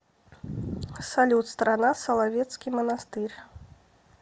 салют страна соловецкий монастырь